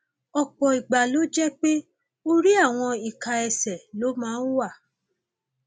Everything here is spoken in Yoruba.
ọpọ ìgbà ló jẹ pé orí àwọn ìka ẹsẹ ló máa ń wà